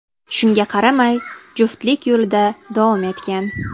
Shunga qaramay, juftlik yo‘lida davom etgan.